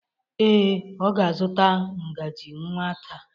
Ee, ọ ga-azụta ngaji nwa taa.